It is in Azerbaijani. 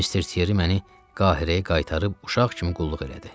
Mister Tieri məni Qahirəyə qaytarıb uşaq kimi qulluq elədi.